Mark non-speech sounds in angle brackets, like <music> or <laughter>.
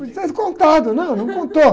<unintelligible> tivesse contado, né? Não contou.